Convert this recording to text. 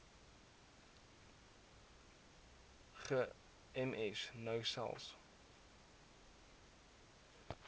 gems nou selfs